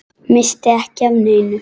Missti ekki af neinu.